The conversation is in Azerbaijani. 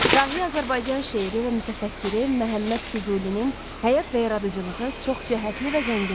Dahi Azərbaycan şeiri və mütəfəkkiri Məhəmməd Füzulinin həyat və yaradıcılığı çoxcəhətli və zəngindir.